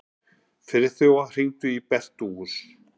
Friðþóra, hringdu í Bernótus.